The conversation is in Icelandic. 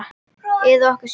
Eða okkur sjálf?